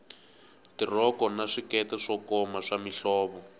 tirhoko na swikete swo koma swa mihlovo